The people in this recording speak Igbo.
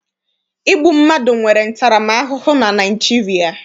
Igbu mmadụ nwere ntaramahụhụ na Naịjirịa.